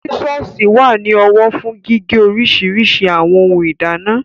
Sísọ̀sì wà ní ọwọ́ fún gígé oríṣiríṣi àwọn ohun ìdáná